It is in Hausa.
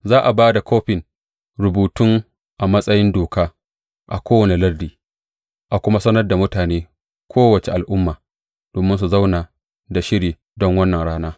Za a ba da kofin rubutun a matsayin doka a kowane lardi, a kuma sanar da mutanen kowace al’umma, domin su zauna da shiri don wannan rana.